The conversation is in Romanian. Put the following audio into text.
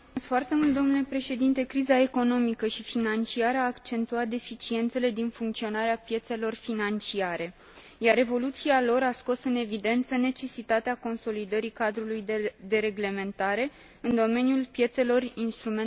Criza economică și financiară a accentuat deficiențele din funcționarea piețelor financiare, iar evoluția lor a scos în evidență necesitatea consolidării cadrului de reglementare în domeniul piețelor instrumentelor financiare.